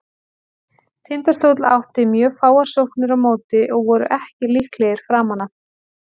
Tindastóll átti mjög fáar sóknir á móti og voru ekki líklegir framan af.